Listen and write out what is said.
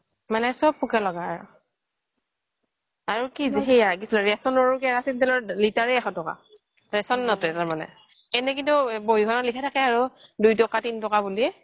মানে চব পোকে লগা আৰু আৰু সেই ৰেচনৰ ৰ কেৰাচিনৰ তেলৰ দাম লিটাৰে এশ টকা ৰেচন মতে মানে এনেই কিন্তু বহী খনত লিখা থাকে আৰু দুই টকা তিন টকা বুলি